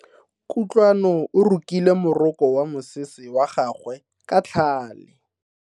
Kutlwano o rokile moroko wa mosese wa gagwe ka tlhale.